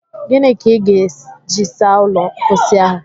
Ginị ka ị ga-eji saa ụlọ mposi ahụ?